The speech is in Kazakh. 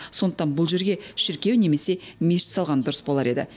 сондықтан бұл жерге шіркеу немесе мешіт салған дұрыс болар еді